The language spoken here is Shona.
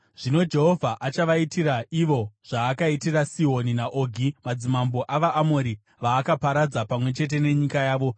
Zvino Jehovha achavaitira ivo zvaakaitira Sihoni naOgi, madzimambo avaAmori, vaakaparadza pamwe chete nenyika yavo.